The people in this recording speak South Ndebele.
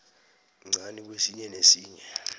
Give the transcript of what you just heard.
mncani kwesinye nesinye